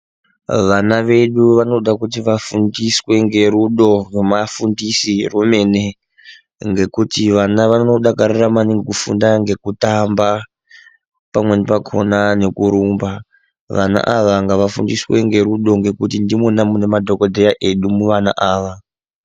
Vana vedu vanoda kuti vafundiswe ngerudo rwemafundisirwo emene. Ngekuti vana vanodakarira maningi kufunda ngekutamba pamweni pakhona ngekurumba. Vana ava ngavafundiswe ngerudo ngekuti ndimwona mune madhokodheya edu muvana ava.